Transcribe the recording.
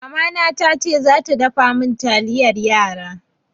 Mamana tace za ta dafa min taliyan yara.